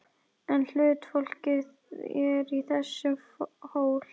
En huldufólkið er í þessum hól!